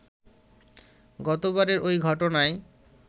গতবারের ঐ ঘটনায়